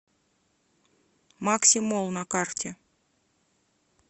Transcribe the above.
макси молл на карте